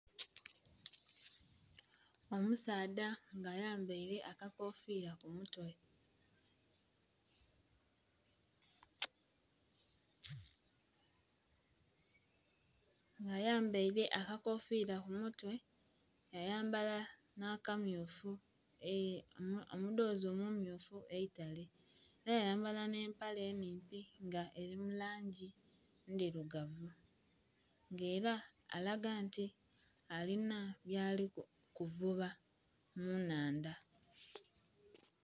Omusaadha nga ayambaire akakofira kumutwe.... Nga ayambaire akakofira kumutwe yayambala nakamyufu omudhozi omumyufu eitale era, era yayambala n'empale enimpi nga eri mulangi endhirugavu nga era alaga nti lina byalikuvuba munnhandha.